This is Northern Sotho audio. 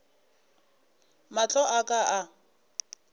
mahlo a ka a ka